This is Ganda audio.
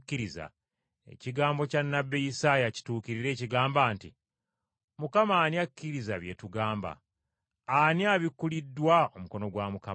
Ekigambo kya nnabbi Isaaya kituukirire ekigamba nti, “Mukama ani akkiriza bye tugamba? Ani abikkuliddwa omukono gwa Mukama?”